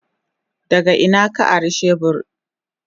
Daga ina ka ari shebur?